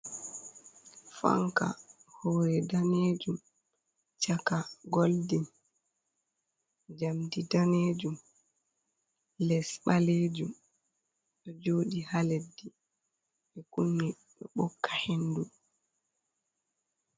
Fanka hore danejum chaka golden jamdi danejum les ɓalejum ɗo joɗi ha leɗɗi, ɓe kumi ɗo ɓokka hendu.